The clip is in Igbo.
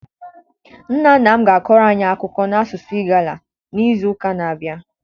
Nna nna m ga-akọrọ anyị akụkọ na-asụsụ Igala n'izu ụka na-abịa.